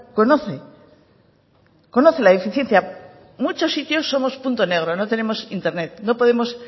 conoce conoce la eficiencia muchos sitios somos punto negro no tenemos internet